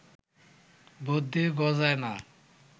বুদ্ধি গজায় না